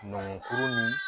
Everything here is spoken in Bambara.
Nɔngɔn foro ni